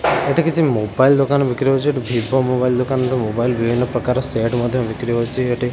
ଏଠି କିଛି ମୋବାଇଲ୍ ଦୋକାନ ବିକ୍ରି ହଉଛି ଭିଭୋ ମୋବାଇଲ ଦୋକାନ ମୋବାଇଲ ବିଭିନ୍ନ ପ୍ରକାର ମୋବାଇଲ ସେଟ୍ ମଧ୍ୟ ବିକ୍ରି ହଉଛି।